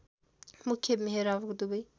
मुख्य मेहराबको दुबै